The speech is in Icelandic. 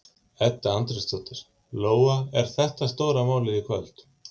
Edda Andrésdóttir: Lóa, er þetta stóra málið í kvöld?